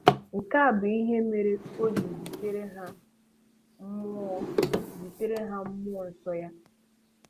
Nke a bụ ihe mere O ji zitere ha mmụọ zitere ha mmụọ nsọ Ya.